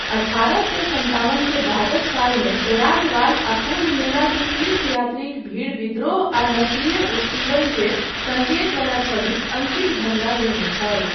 अठारह सए सत्तावन के बादक सालमे प्रयागवाल आ कुम्भ मेला के तीर्थयात्रीक भीड़ विद्रोह आ नस्लीय उत्पीड़नकेँ सङ्केत वला छवि अङ्कित झण्डा लेने छल।